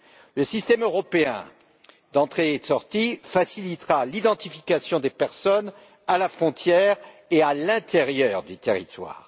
Le système européen d'entrée sortie facilitera l'identification des personnes à la frontière et à l'intérieur du territoire.